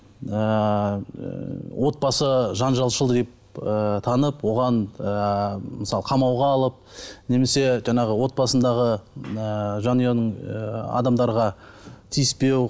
ыыы отбасы жанжалшыл деп ы танып оған ы мысалы қамауға алып немесе жаңағы отбасындағы ы жанұяның ы адамдарға тиіспеу